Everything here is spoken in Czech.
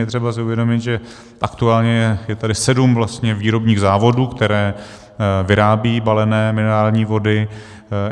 Je třeba si uvědomit, že aktuálně je tady sedm výrobních závodů, které vyrábí balené minerální vody.